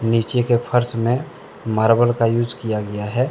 नीचे के फ़र्श में मार्बल का यूज किया गया है।